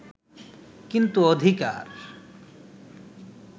কিন্তু অধিকার